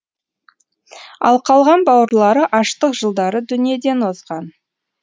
ал қалған бауырлары аштық жылдары дүниеден озған